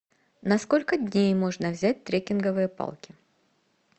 на сколько дней можно взять трекинговые палки